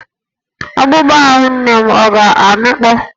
Akpụkpọ ahụ nne m ọ̀ ga-amịkpọ?